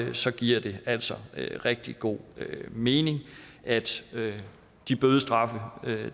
og så giver det altså rigtig god mening at de bødestraffe